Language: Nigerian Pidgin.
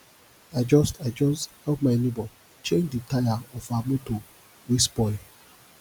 i just i just help me nebor change di taya of her motor wey spoil